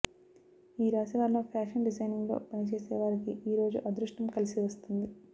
ఈ రాశి వారిలో ఫ్యాషన్ డిజైనింగ్లో పని చేసే వారికి ఈ రోజు అదృష్టం కలిసి వస్తుంది